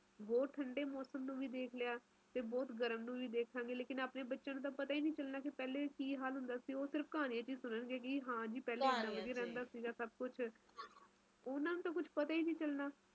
ਤੁਸੀਂ ਦੱਸਿਆ ਹੀ ਕੁਸ਼ ਮੈਨੂੰ ਹੈ ਤਾ ਬਣਾਇਆ ਸੀਗਾ ਅਸੀਂ ਤਾ ਸੋਚਦੇ ਸੀਗੇ ਜਨਵਰੀ ਚ ਮਾੜੀ ਜੀ ਠੰਡ ਘਟਾ ਜਾਏਫਿਰ ਜਨਵਰੀ ਦੇ ਅਖ਼ੀਰਲੇ ਦਿਨਾਂ ਵਿਚ ਆਪਾ